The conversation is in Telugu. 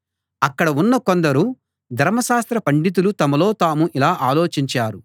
అక్కడ ఉన్న కొందరు ధర్మశాస్త్ర పండితులు తమలో తాము ఇలా ఆలోచించారు